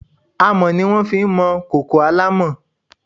Àmọ́ ni wọ́n máa fi ń mọ kòkò alámọ̀.